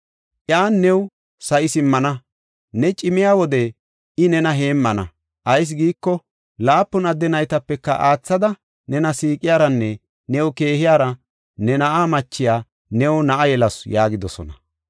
Iyan new sa7i simmana, ne cimiya wode I nena heemmana. Ayis giiko, laapun adde naytapeka aathada nena siiqiyaranne new keehiyara, ne na7a machiya new na7a yelasu” yaagidosona.